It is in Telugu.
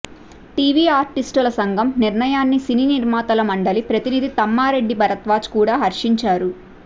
టీవీ ఆర్టిస్టుల సంఘం నిర్ణయాన్ని సినీ నిర్మాతల మండలి ప్రతినిధి తమ్మారెడ్డి భరద్వాజ కూడా హర్షించారు